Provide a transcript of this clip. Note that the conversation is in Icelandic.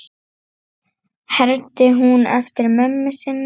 hermdi hún eftir mömmu sinni.